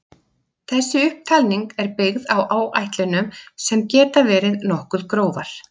Þessi upptalning er byggð á áætlunum sem geta verið nokkuð grófar.